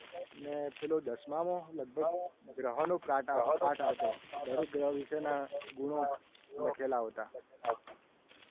પેલો દસમામાં લગભગ ગ્રહોનો પાઠ આવતો. જેમાં દરેક ગ્રહ વિશેના ગુણો લખેલા આવતા.